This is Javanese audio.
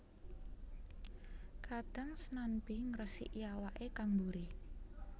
Kadhang snanmbi ngresiki awake kang buri